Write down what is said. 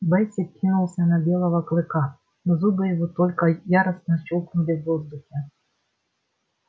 бэсик кинулся на белого клыка но зубы его только яростно щёлкнули в воздухе